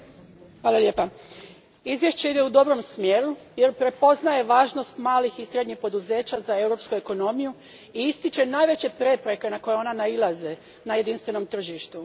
Gospodine predsjedniče, izvješće ide u dobrom smjeru jer prepoznaje važnost malih i srednjih poduzeća za europsku ekonomiju i ističe najveće prepreke na koje ona nailaze na jedinstvenom tržištu.